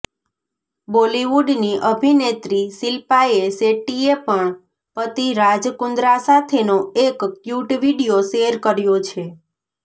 બોલિવૂડની અભિનેત્રી શિલ્પાએ શેટ્ટીએ પણ પતિ રાજ કુન્દ્રા સાથેનો એક ક્યૂટ વિડીયો શેર કર્યો છે